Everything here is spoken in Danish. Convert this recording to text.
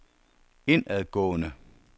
indadgående